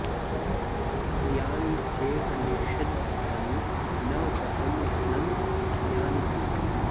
यानि चेह निषिद्धानि न व्रतं घ्नन्ति यानि तु